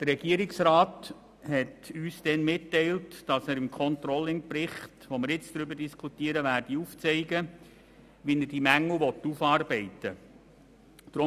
Der Regierungsrat hat uns damals mitgeteilt, er werde im Controllingbericht, über den wir nun diskutieren, aufzeigen, wie er diese Mängel aufarbeiten wolle.